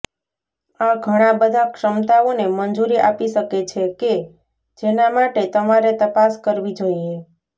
આ ઘણા બધા ક્ષમતાઓને મંજૂરી આપી શકે છે કે જેના માટે તમારે તપાસ કરવી જોઈએ